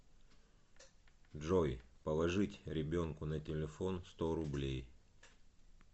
джой положить ребенку на телефон сто рублей